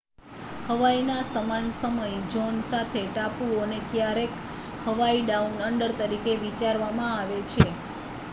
"હવાઈના સમાન સમય ઝોન સાથે ટાપુઓને ક્યારેક "હવાઈ ડાઉન અંડર" તરીકે વિચારવામાં આવે છે.